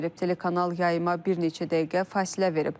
Telekanal yayıma bir neçə dəqiqə fasilə verib.